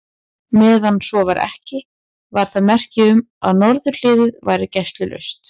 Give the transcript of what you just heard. Meðan svo var ekki, var það merki um, að norðurhliðið væri gæslulaust.